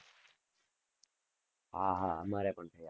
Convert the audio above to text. હા હા, અમારે પણ થયા છે.